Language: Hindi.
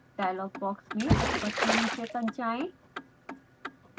डायलॉग बॉक्स में ऊपर से नीचे तक जाएँ